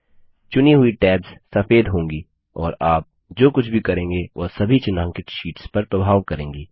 चुनी हुई टैब्स सफ़ेद होंगी और आप जो कुछ भी करेंगे वह सभी चिन्हांकित शीट्स पर प्रभाव करेंगी